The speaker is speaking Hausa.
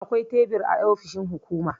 Akwai tebur a ofishin hukuma.